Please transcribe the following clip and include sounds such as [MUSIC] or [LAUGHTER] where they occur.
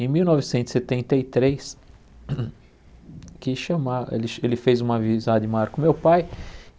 Em mil novecentos e setenta e três, [COUGHS] quis chamar ele ch ele fez uma amizade maior com meu pai.